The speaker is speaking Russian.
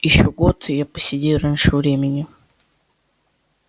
ещё год и я поседею раньше времени